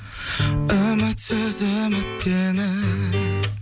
үмітсіз үміттеніп